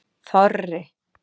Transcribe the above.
Þorri